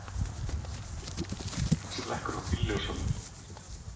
Hann slekkur á bílljósunum.